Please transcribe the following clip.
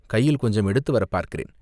கையில் கொஞ்சம் எடுத்துவரப் பார்க்கிறேன்.